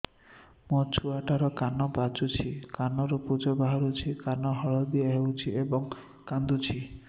ଛୁଆ ଟା ର କାନ ପାଚୁଛି କାନରୁ ପୂଜ ବାହାରୁଛି କାନ ଦଳି ହେଉଛି ଏବଂ କାନ୍ଦୁଚି